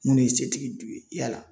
Nin ye setigi do ye yala